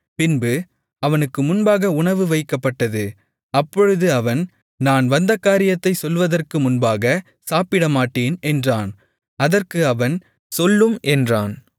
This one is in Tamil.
பின்பு அவனுக்கு முன்பாக உணவு வைக்கப்பட்டது அப்பொழுது அவன் நான் வந்த காரியத்தைச் சொல்லுவதற்கு முன்பாகச் சாப்பிடமாட்டேன் என்றான் அதற்கு அவன் சொல்லும் என்றான்